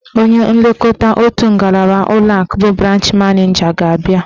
Onye nlekọta otu ngalaba ụlọakụ bụ branch maneja ga-abịa.